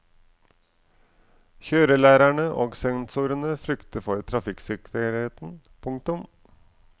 Kjørelærerne og sensorene frykter for trafikksikkerheten. punktum